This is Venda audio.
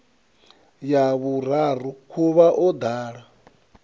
ya vhuraru khuvha o ḓala